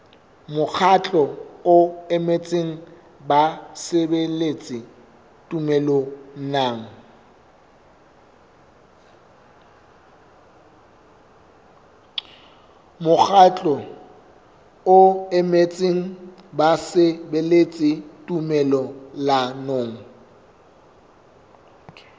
mokgatlo o emetseng basebeletsi tumellanong